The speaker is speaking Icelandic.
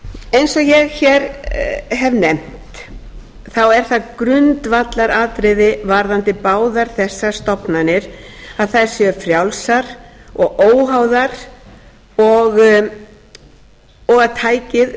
eins og ég hér hef nefnt er það grundvallaratriði varðandi báðar þessar stofnanir að þær séu frjálsar og óháðar og að tækið